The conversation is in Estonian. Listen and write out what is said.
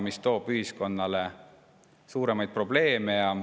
See tooks ühiskonnale suuri probleeme kaasa.